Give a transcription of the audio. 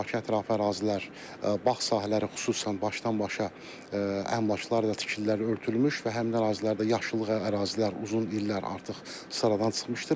Bakıya təafə ərazilər, bağ sahələri xüsusən başdan-başa əmlaklarla tikililərlə örtülmüş və həmin ərazilərdə yaşıllıq ərazilər uzun illər artıq sıradan çıxmışdır.